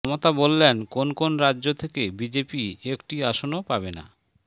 মমতা বললেন কোন কোন রাজ্য থেকে বিজেপি একটি আসনও পাবে না